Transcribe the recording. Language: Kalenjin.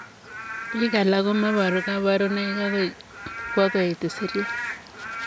Piik alaak komeparuu kaparunoik agoi apkwoo koet isiryaat.